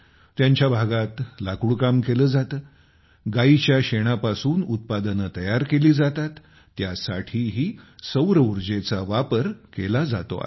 त्यांच्या भागात लाकूडकाम केले जाते गायीच्या शेणापासून उत्पादने तयार केली जातात त्यासाठीही सौरऊर्जेचा वापर केला जातो आहे